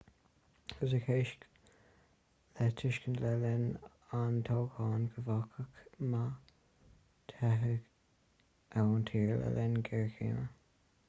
thug hsieh le tuiscint le linn an toghcháin go bhféadfadh ma teitheadh ​​ón tír le linn géarchéime